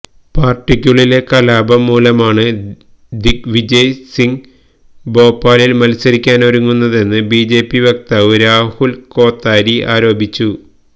പാര്ട്ടിക്കുള്ളിലെ കലാപം മൂലമാണ് ദിഗ് വിജയ് സിംഗ് ഭോപ്പാലില് മത്സരിക്കാനൊരുങ്ങുന്നതെന്ന് ബിജെപി വക്താവ് രാഹുല് കോത്താരി ആരോപിച്ചു